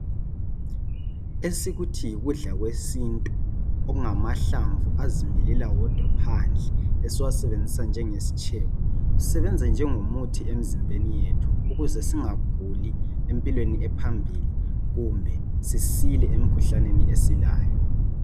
Esikuthi yikudla kwesintu, okungamahlamvu azimilela wodwa phandle esiwasebenzisa njengesitshebo kusebenza njengo muthi emzimbeni yethu ukuze singaguli empilweni ephambili kumbe sisile emkhuhlaneni esilayo.